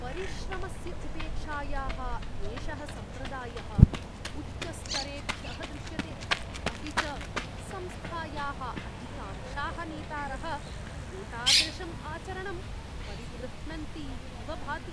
परिश्रमस्य उपेक्षायाः एषः सम्प्रदायः उच्चस्तरेभ्यः दृश्यते, अपि च संस्थायाः अधिकांशाः नेतारः एतादृशम् आचरणं परिगृह्णन्ति इव भाति।